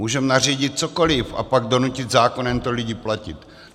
Můžeme nařídit cokoli a pak donutit zákonem lidi to platit.